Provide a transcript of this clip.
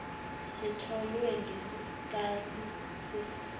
sitholwe ngesikali sesisindo